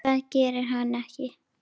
Það gerir hann ekki!